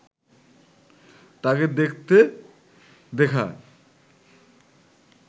তাকে দেখতে দেখায়